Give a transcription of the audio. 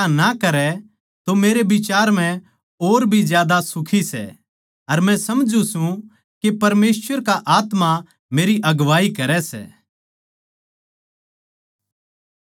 पर जै वा दुबारा ब्याह ना करै तो मेरै बिचार म्ह और भी ज्यादा सुखी सै अर मै समझूँ सूं के परमेसवर का आत्मा मेरी अगुवाई करै सै